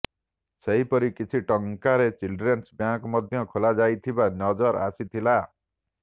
ସେହିପରି କିଛି ଟଙ୍କାରେ ଚିଲଡ୍ରେନ୍ସ ବ୍ୟାଙ୍କ ମଧ୍ୟ ଲେଖାଯାଇଥିବା ନଜର ଆସିଥିଲା